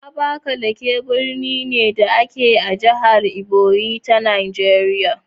Abakalaki birni ne, da ke a jihar Ebonyi ta Najeriya.